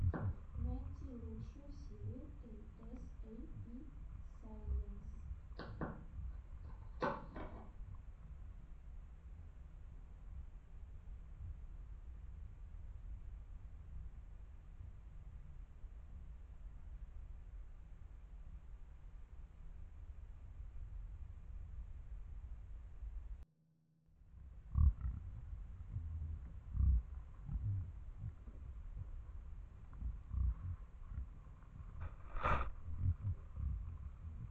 найти лучшую серию эй эс эй пи сайенс